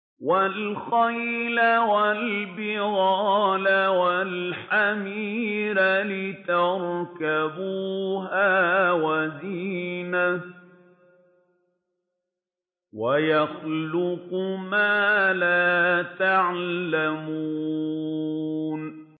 وَالْخَيْلَ وَالْبِغَالَ وَالْحَمِيرَ لِتَرْكَبُوهَا وَزِينَةً ۚ وَيَخْلُقُ مَا لَا تَعْلَمُونَ